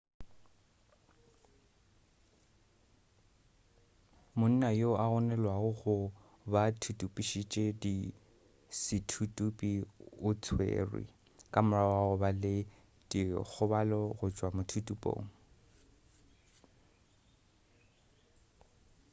monna yo a gononelwago go ba thuthupišitše sethuthupi o tswerwe ka morago ga go ba le dikgobalo go tšwa mothuthupong